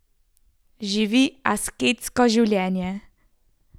Živi asketsko življenje.